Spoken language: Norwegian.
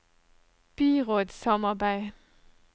byrådssamarbeid